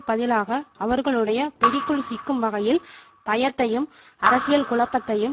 பதிலாக அவர்களுடைய பிடிக்குள் சிக்கும் வகையில் பயத்தையும் அரசியல் குழப்பத்தையும்